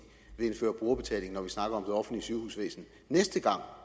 vil indføre brugerbetaling når vi snakker om det offentlige sygehusvæsen næste gang